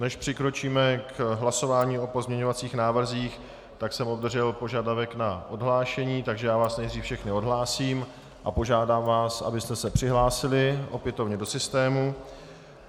Než přikročíme k hlasování o pozměňovacích návrzích, tak jsem obdržel požadavek na odhlášení, takže já vás nejdřív všechny odhlásím a požádám vás, abyste se přihlásili opětovně do systému.